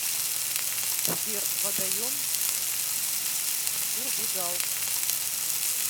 сбер водоем бурдигал